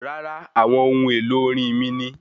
Rárá, àwọn ohun èlò orin mí ni